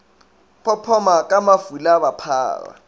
phophoma ka mafula ba phara